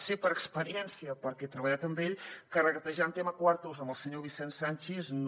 sé per experiència perquè he treballat amb ell que regatejar en tema quartos amb el senyor vicent sanchis no